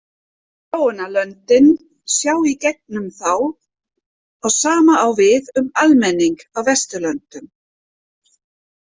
Þróunarlöndin sjá í gegnum þá og sama á við um almenning á Vesturlöndum.